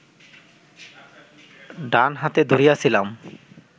ডান হাতে ধরিয়াছিলাম